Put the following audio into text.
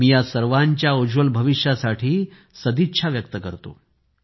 मी या सर्वांच्या उज्ज्वल भविष्यासाठी सदिच्छा देतो